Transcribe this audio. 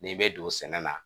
N'i bɛ don sɛnɛ na